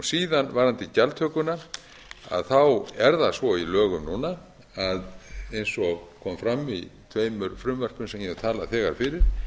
síðan varðandi gjaldtökuna er það svo í lögum núna að eins og kom fram í tveimur frumvörpum sem ég hef þegar talað fyrir